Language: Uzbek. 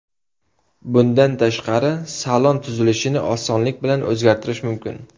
Bundan tashqari, salon tuzilishini osonlik bilan o‘zgartirish mumkin.